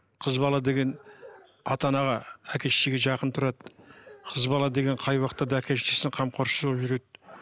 қыз бала деген ата анаға әке шешеге жақын тұрады қыз бала деген қай уақытта да әке шешесінің қамқоршысы болып жүреді